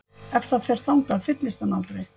Ef það fer þangað fyllist hann aldrei?